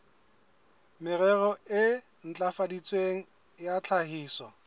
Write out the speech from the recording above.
merero e ntlafaditsweng ya tlhahiso